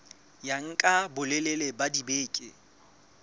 ya nka bolelele ba dibeke